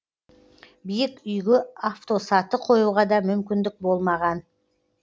биік үйге автосаты қоюға да мүмкіндік болмаған